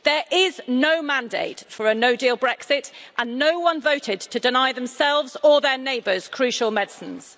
There is no mandate for a no deal Brexit and no one voted to deny themselves or their neighbours crucial medicines.